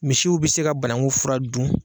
Misiw bi se ka banaku fura dun.